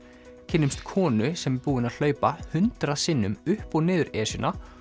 kynnumst konu sem er búin að hlaupa hundrað sinnum upp og niður Esjuna